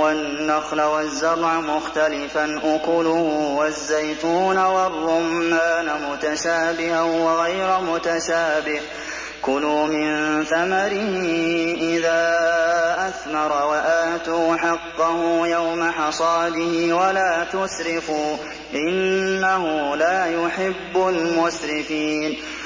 وَالنَّخْلَ وَالزَّرْعَ مُخْتَلِفًا أُكُلُهُ وَالزَّيْتُونَ وَالرُّمَّانَ مُتَشَابِهًا وَغَيْرَ مُتَشَابِهٍ ۚ كُلُوا مِن ثَمَرِهِ إِذَا أَثْمَرَ وَآتُوا حَقَّهُ يَوْمَ حَصَادِهِ ۖ وَلَا تُسْرِفُوا ۚ إِنَّهُ لَا يُحِبُّ الْمُسْرِفِينَ